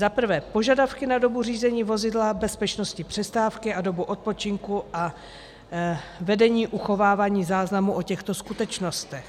Za prvé, požadavky na dobu řízení vozidla, bezpečnostní přestávky a dobu odpočinku a vedení uchovávání záznamů o těchto skutečnostech.